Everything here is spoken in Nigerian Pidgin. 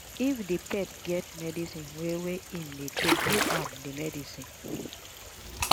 if di pet get medicine wey wey im dey take give am di medicine